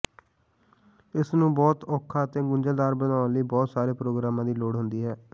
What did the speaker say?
ਇਸ ਨੂੰ ਬਹੁਤ ਸੌਖਾ ਅਤੇ ਗੁੰਝਲਦਾਰ ਬਣਾਉਣ ਲਈ ਬਹੁਤ ਸਾਰੇ ਪ੍ਰੋਗਰਾਮਾਂ ਦੀ ਲੋੜ ਹੁੰਦੀ ਹੈ